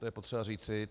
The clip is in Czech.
To je potřeba říci.